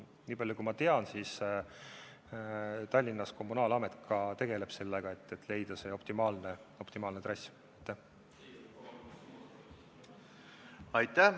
Nii palju kui mina tean, Tallinna kommunaalamet juba tegeleb sellega, et leida optimaalne trass.